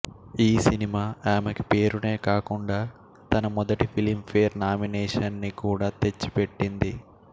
ఈ సినిమా అమెకి పేరునే కాకుండా తన మొదటి ఫిలింఫేర్ నామినేషన్ ని కూడా తెచ్చిపెట్టింది